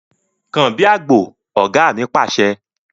Kàn bí àgbò! Ọ̀gá mi Pàṣẹ.